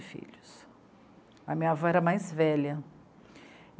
filhos, a minha avó era mais velha.